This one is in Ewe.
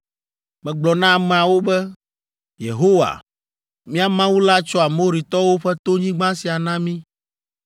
Megblɔ na ameawo be, “Yehowa, mía Mawu la tsɔ Amoritɔwo ƒe tonyigba sia na mí.